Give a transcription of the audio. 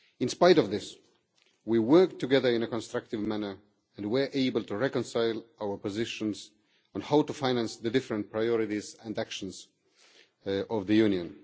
In spite of this, we worked together in a constructive manner and were able to reconcile our positions on how to finance the different priorities and actions of the Union.